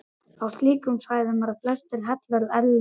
Á slíkum svæðum eru flestir hellar erlendis.